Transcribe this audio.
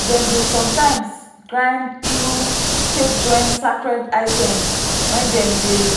dem dey sometimes grind iru take join sacred items when dem dey